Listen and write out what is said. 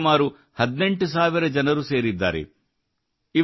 ಇದರೊಂದಿಗೆ ಸುಮಾರು 18 ಸಾವಿರ ಜನರು ಸೇರಿದ್ದಾರೆ